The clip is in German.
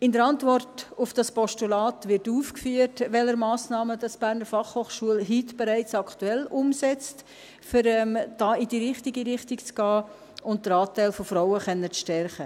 In der Antwort auf dieses Postulat wird aufgeführt, welche Massnahmen die BFH aktuell, bereits heute, umsetzt, um da in die richtige Richtung zu gehen und den Anteil der Frauen stärken zu können.